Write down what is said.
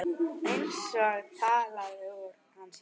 Eins og talað úr hans hjarta.